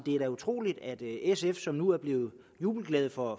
er utroligt at sf som nu er blevet jubelglade for